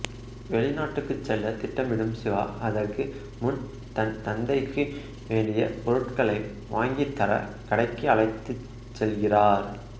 வெளிநாடுக்கு செல்ல திட்டமிடும் சிவா அதற்கு முன் தன் தந்தைக்கு வேண்டிய பொருட்களை வாங்கித்தர கடைக்கு அழைத்துச் செல்கிறார்